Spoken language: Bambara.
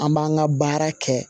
An b'an ka baara kɛ